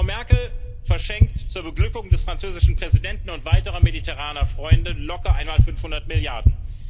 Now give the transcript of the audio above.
Frau Merkel verschenkt zur Beglückung des französischen Präsidenten und weiterer mediterraner Freunde locker einmal 500 Milliarden.